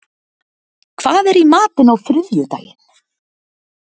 Hrefna, hvað er í matinn á þriðjudaginn?